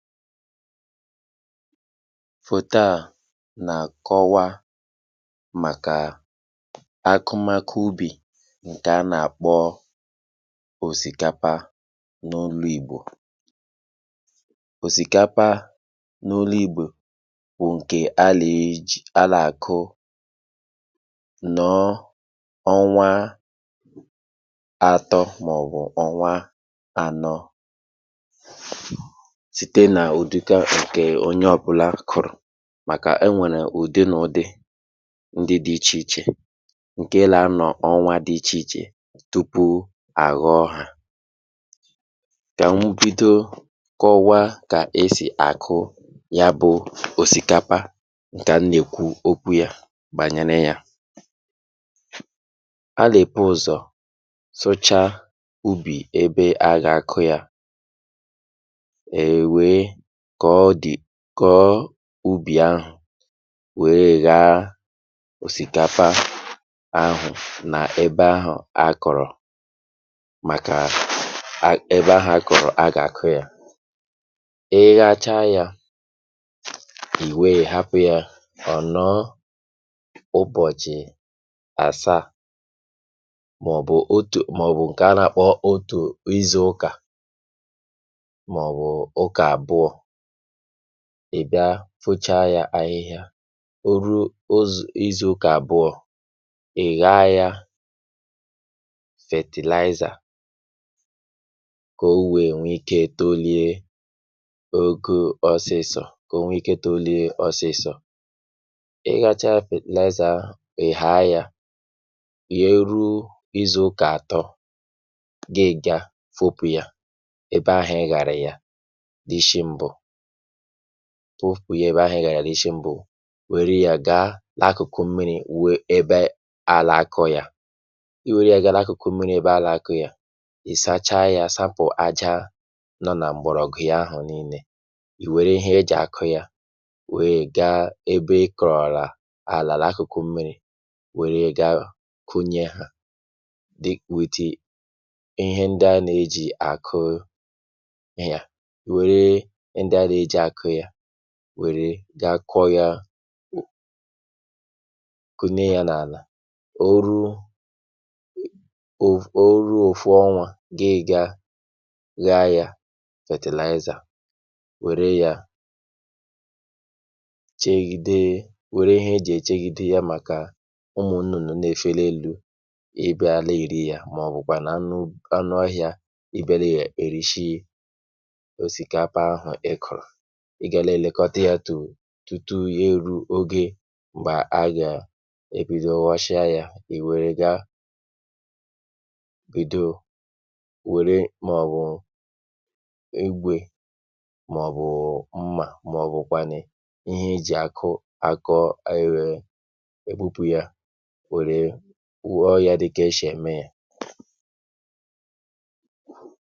Fòto à nà-àkọwa màkà akụmakụ ubì ǹkè a nà-àkpọ òsìkapa n’olu ìgbò. Osìkapa n’olu ìgbò bụ ǹkè (um)alì.ji.alà -akụ nọ ọnwa atọ màọ̀bụ̀ ọ̀nwa ànọ, site na udika ǹkè onye ọ̇bụ̇la kụ̀rụ̀ màkà e nwèrè ùdi nà ùdi ndi dị̇ ichè ichè ǹke là anọ̀ ọnwa dị̇ ichè ichè tupu à ghọọ hȧ, kà m bido kọwa kà esì àkụ ya bụ̇ òsìkapa ǹkè m na-ekwu okwu yȧ bànyine yȧ, ala- ebu uzo sụchaa ubì ebe a gà-àkụ ya e wee kọ̀ọ de Koo ubì ahụ̀ wee gha òsìkapa ahụ̀ nà ebe ahụ̀ a kọ̀rọ̀ màkà ebe ahụ̀ a kọ̀rọ̀ a gà-akụ yȧ, ị ghacha yȧ, ì wee hapụ̇ ya ọ̀ nọ ụbọ̀chị̀ àsaà màọ̀bụ̀ otù màọ̀bụ̀ nke ana-akpo otu izu ụka, maọbụ uka abụọ, ibịa fụcha ya ahịhịa, o ruo uzi izù ụka abụọ, ị̀ gha ya fertilizer ka o wee nwee ikė tollie ogo ọsịsọ̇ ka o nwee ike tollie ọsịsọ̇, ị ghacha fertilizer ahụ, ị̀ haa yȧ, ye e ruo izù ụka àtọ, ga-iga fopu̇ yà ebe ahụ̀ ị ghàrà ya isi mbụ, foopụ̀ ya ebe ahụ̀ ị ghàrà n'isi m̀bù, wère ya gaa la akùkù mmiri̇ wee ebe àlà akọ̀ ya, i wère ya gaa la akụ̀kụ mmiri ebe ala akụ̇ ya, ì sacha ya sapụ̀ aja nọ nà m̀gbọ̀rọ̀gụ̀ ya ahụ̀ nille, ì wère ihe ejì akụ̇ ya wère ga ebe ị kọ̀rọ̀la àlà la akụ̀kụ mmiri̇ wère ga kunye ha, dịk wèeti ihe ndị a nà-ejì àkụụ ya, wère ga-akọ̇ ya ku kunye ya n’àlà, o ruo o ruo ofụ̇ ọnwȧ, ị ga ghaa ya fetèlaịzà, wère yȧ chègide wère ihe e jì è chègide yȧ màkà ụmụ̀ nnụ̀nụ̀ na-èfe n'èlu ịbịa na-eri ya màọ̀bụ̀kwànu anụ anuohia ịbịa nè erìshi osikapa ahụ ịkọrọ, ị gà nà èlekọta yȧ tù u tùtu yȧ eru̇ oge m̀gbè a gà èbido ghọsịa yȧ, ì wère gȧ bìdo wère màọ̀bụ̀ igwè màọ̀bụ̀ mmà màọ̀bụ̀ kwànu ihe e jì akụ akọ ayị̇ wèe ègbupu yȧ wère wuo yȧ dịka eshè ème yȧ.